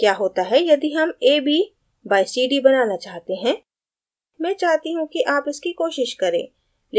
क्या होता है यदि हम ab by cd बनाना चाहते हैं मैं चाहती हूँ कि आप इसकी कोशिश करें